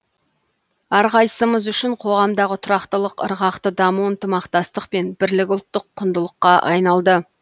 әрқайсымыз үшін қоғамдағы тұрақтылық ырғақты даму ынтымақтастық пен бірлік ұлттық құндылыққа айналды